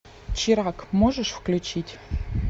чирак можешь включить